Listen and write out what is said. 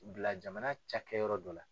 bila jamana cakɛ yɔrɔ dɔ la.